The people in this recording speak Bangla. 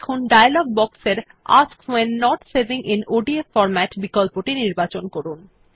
এখন ডায়লগ বক্স এর ask when not saving in ODF formatবিকল্পটি নির্বাচন করুন